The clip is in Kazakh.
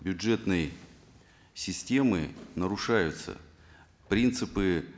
бюджетной системы нарушаются принципы